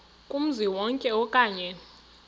kumzi wonke okanye